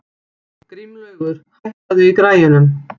Grímlaugur, hækkaðu í græjunum.